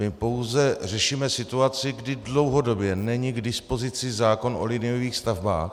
My pouze řešíme situaci, kdy dlouhodobě není k dispozici zákon o liniových stavbách.